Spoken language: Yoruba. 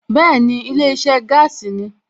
Bẹ́ẹ̀ni, ilé iṣẹ́ gáàsì ni